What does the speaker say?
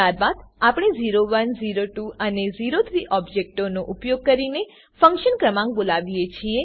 ત્યારબાદ આપણે ઓ1 ઓ2 અને ઓ3 ઓબજેક્ટોનો ઉપયોગ કરીને ફંક્શન ક્રમાંક બોલાવીએ છીએ